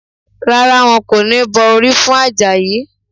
Rárá, wọn kò ní bọ orí fún Àjàyí